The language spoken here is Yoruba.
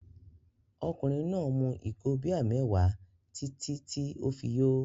Ọkùnrin náà mu ìgò bíà mẹ́wàá títí tí ó fi yó.